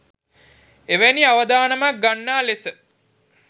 එවැනි අවදානමක් ගන්නා ලෙස